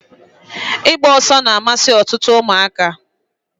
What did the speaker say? Igba oso na-amasi otutu umuaka.